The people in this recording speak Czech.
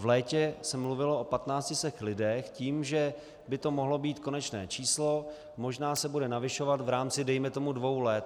V létě se mluvilo o 1500 lidech s tím, že by to mohlo být konečné číslo, možná se bude navyšovat v rámci dejme tomu dvou let.